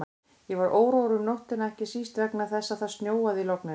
Ég var órór um nóttina, ekki síst vegna þess að það snjóaði í logninu.